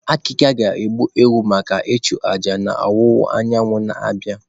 Akika ga-egbu ewu maka ịchụ aja n'ọwụwa anyanwụ na-abịa.